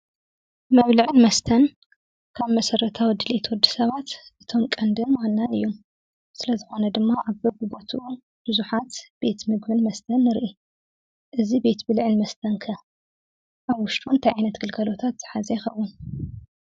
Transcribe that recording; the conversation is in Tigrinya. መብልዕን መስተን ካብ መሰረታዊ ድልየት ወዲ ሰባት እቶም ቀንድን ማናን እዩም። ስለ ዝኮነ ድማ ኣብ በቡቦቱኡ ብዙሓት ቤት ምግብን መስተን ንርኢ እዚ ቤት ብልዕን መስተ'ከ ኣብ ውሽጡ እንታይ ዓይነት ግልገሎታት ዝሓዘ ይኸውን።